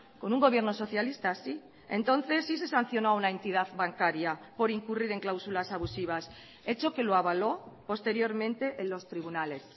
con un gobierno socialista sí entonces sí se sancionó a una entidad bancaria por incurrir en cláusulas abusivas hecho que lo avaló posteriormente en los tribunales